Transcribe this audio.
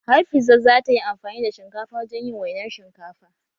Hafiza za ta yi amfani da shinkafa wajen yin wainar shinkafa